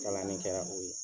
Galani kɛra o ye.